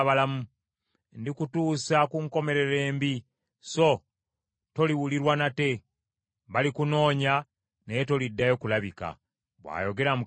Ndikutuusa ku nkomerero embi, so toliwulirwa nate. Balikunoonya, naye toliddayo kulabika,’ bw’ayogera Mukama Katonda.”